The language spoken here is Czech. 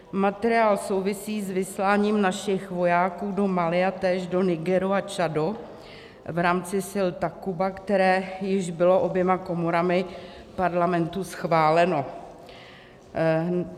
Materiál souvisí s vysláním našich vojáků do Mali a též do Nigeru a Čadu v rámci sil Takuba, které již bylo oběma komorami Parlamentu schváleno.